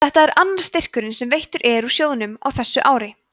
þetta er annar styrkurinn sem veittur er úr sjóðnum á þessu ári